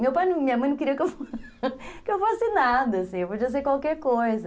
Meu pai, minha mãe não queria que eu fosse nada, assim, eu podia ser qualquer coisa.